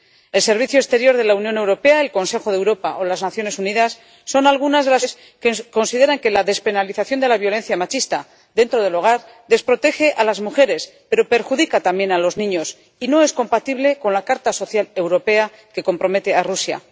El Servicio de Acción Exterior de la Unión Europea, el Consejo de Europa o las Naciones Unidas son algunas de las organizaciones internacionales que consideran que la despenalización de la violencia machista dentro del hogar desprotege a las mujeres, pero perjudica también a los niños y no es compatible con la Carta Social Europea que compromete a Rusia.